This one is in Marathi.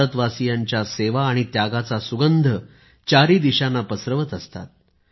भारतवासियांच्या सेवा आणि त्यागाचा सुगंध चारी दिशांना पसरवत असतात